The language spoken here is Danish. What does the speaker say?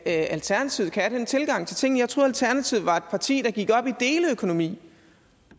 alternativet kan have den tilgang til tingene jeg troede alternativet var et parti der gik op i deleøkonomi